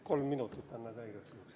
Kolm minutit anna ka igaks juhuks.